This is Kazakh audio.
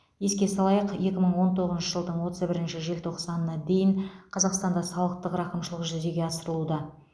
еске салайық екі мың он тоғызыншы жылдың отыз бірінші желтоқсанына дейін қазақстанда салықтық рақымшылық жүзеге асырылуда